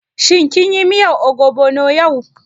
Shin kin yi miyar ogbono yau?